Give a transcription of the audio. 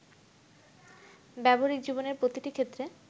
ব্যবহারিক জীবনের প্রতিটি ক্ষেত্রে